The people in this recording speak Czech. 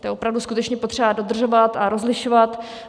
To je opravdu skutečně potřeba dodržovat a rozlišovat.